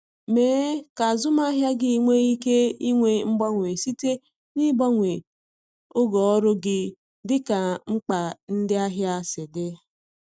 Mee ka azụmahịa gị nwee ike inwe mgbanwe site n’ịgbanwe oge ọrụ gị dịka mkpa ndị ahịa si dị.